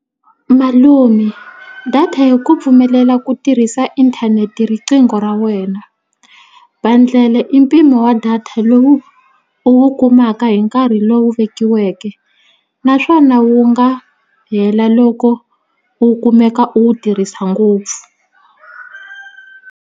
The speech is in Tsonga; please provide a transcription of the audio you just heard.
Malume data ya ku pfumelela ku tirhisa inthanete hi riqingho ra wena bundle i mpimo wa data lowu u wu kumaka hi nkarhi lowu vekiweke naswona wu nga hela loko u kumeka u wu tirhisa ngopfu.